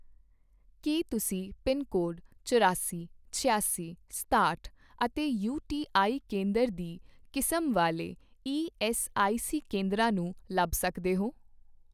ਕੀ ਤੁਸੀਂ pin code ਚੁਰਾਸੀ, ਛਿਆਸੀ, ਸਤਾਹਟ ਅਤੇ ਯੂ.ਟੀ.ਆਈ ਕੇਂਦਰ ਦੀ ਕਿਸਮ ਵਾਲੇ ਈਐੱਸਆਈਸੀ ਕੇਂਦਰਾਂ ਨੂੰ ਲੱਭ ਸਕਦੇ ਹੋ?